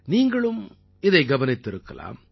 நீங்களும் இதை கவனித்திருக்கலாம்